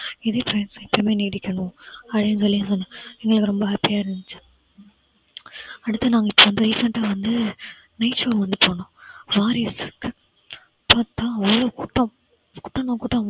இதுவே கடைசி வரைக்கும் நீடிக்கணும். அப்படின்னு சொல்லி சொன்னாரு. anyway ரொம்ப happy யா இருந்துச்சு. அடுத்து நாங்க ரொம்ப recent டா வந்து beach வந்து போனோம் கூட்டம் அவ்ளோ கூட்டம் கூட்டம்னா கூட்டம்